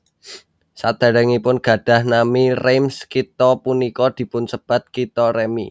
Sadèrèngipun gadhah nami Reims kitha punika dipunsebat Kitha Remi